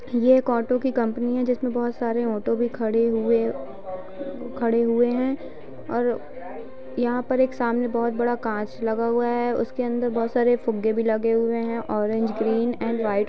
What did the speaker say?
ये एक ऑटो की कंपनी है जिसमे बहुत सारे ऑटो खड़े हुए खड़े हुए हैं और यहा पर एक सामने बहुत बड़ा काँच लगा हुआ है | उसके अंदर बहुत सारे फूग्गे भी लगे हुए हैं | ऑरेंज ग्रेन और वाइट --